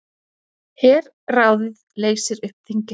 Herráðið leysir upp þingið